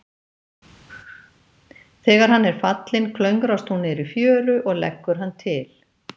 Þegar hann er fallinn, klöngrast hún niður í fjöru og leggur hann til.